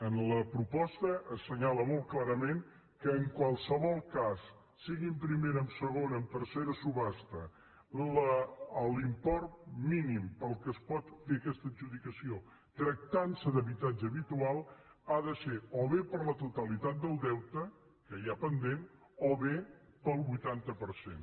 en la proposta s’assenyala molt clarament que en qualsevol cas sigui en primera en segona en tercera subhasta l’import mínim pel qual es pot fer aquesta adjudicació tractant se d’habitatge habitual ha de ser o bé per la totalitat del deute que hi ha pendent o bé pel vuitanta per cent